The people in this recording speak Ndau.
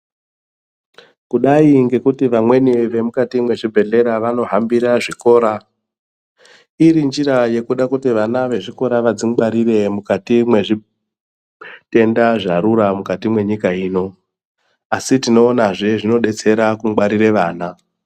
Kudai ngekuti vamweni vemukati mwezvibhedhlera vanohambira zvikora, irinjira yekuda kutivana vechikora vadzingwaririre mukati mezvitenda zvarura mukati mwenyika ino, asi tinoonazve zvinodetsere kungwarire vana.